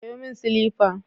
Sayo min silifa.